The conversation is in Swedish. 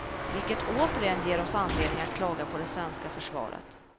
Vilket återigen ger oss anledning att klaga på det svenska försvaret.